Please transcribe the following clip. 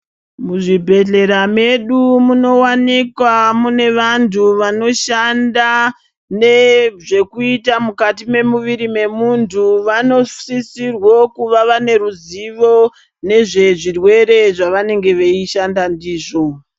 Muzvibhehlera medu munowanikwa mune vantu vanoshanda nezvekuita mukati memuviri memuntu. Vanosisirwo kuva vane ruzivo nezvezvirwere zvavanenge veishanda ndizvo.